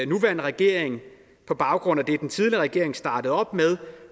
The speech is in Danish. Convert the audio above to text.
nuværende regering på baggrund af det den tidligere regering startede op